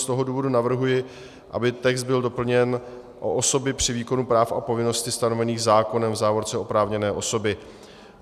Z tohoto důvodu navrhuji, aby text byl doplněn o osoby při výkonu práv a povinností stanovených zákonem, v závorce oprávněné osoby.